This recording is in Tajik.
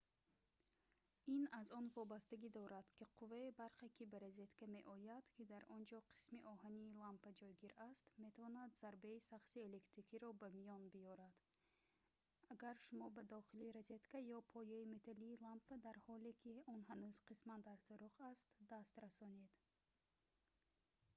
ин аз он вобастагӣ дорад ки қувваи барқе ки ба розетка меояд ки дар онҷо қисми оҳании лампа ҷойгир аст метавонад зарбаи сахти электрикиро ба миён биёрад агар шумо ба дохили розетка ё пояи металлии лампа дар ҳоле ки он ҳанӯз қисман дар сӯрох аст даст расонед